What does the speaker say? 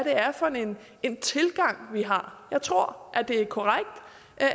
er for en en tilgang vi har jeg tror at det er korrekt